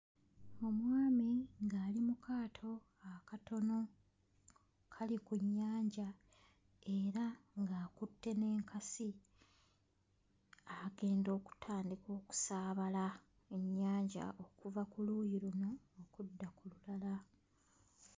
Omwami ng'ali mu kaato akatono kali ku nnyanja era ng'akutte n'enkasi agenda okutandika okusaabala ku nnyanja okuva ku luuyi luno okudda ku lulala.